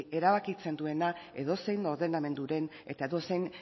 erabakitzen duena edozein ordenamenduren eta edozein